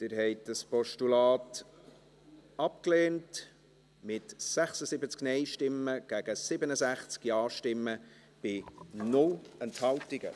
Sie haben dieses Postulat abgelehnt, mit 76 Nein- gegen 67 Ja-Stimmen bei 0 Enthaltungen.